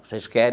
Vocês querem?